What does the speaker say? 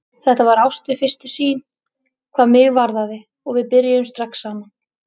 Þetta var ást við fyrstu sýn, hvað mig varðaði, og við byrjuðum strax saman.